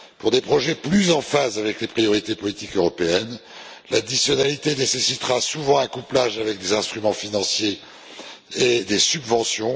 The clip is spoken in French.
Pour des projets plus en phase avec les priorités politiques européennes, l'additionnalité nécessitera souvent un couplage avec des instruments financiers et des subventions.